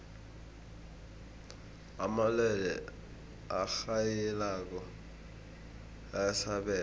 amalwelwe arhayilako ayasabeka